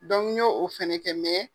n ɲo o fɛnɛ kɛ